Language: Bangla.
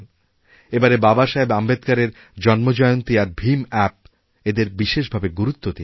এবারের বাবাসাহেব আম্বেদকারের জন্মজয়ন্তীআর ভীম অ্যাপ এদের বিশেষভাবে গুরুত্ব দিন